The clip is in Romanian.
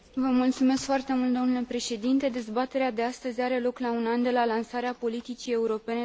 Dezbaterea de astăzi are loc la un an de la lansarea politicii europene de calitate în domeniul agricol.